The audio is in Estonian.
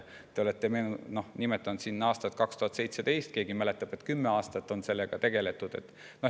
Te olete nimetanud aastat 2017, keegi aga mäletab, et juba kümme aastat on sellega tegeletud.